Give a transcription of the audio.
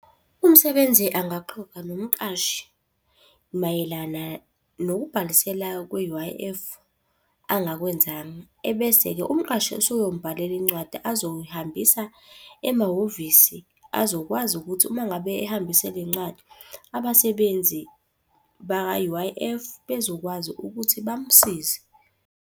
Umsebenzi angaxoxa nomqashi mayelana nokubhalisela kwe-U_I_F angakwenzanga. Ebese-ke umqashi usuyomubhalela incwadi azoyihambisa emahhovisi azokwazi ukuthi uma ngabe ehambise le ncwadi, abasebenzi bakwa-U_I_F bezokwazi ukuthi bamsize.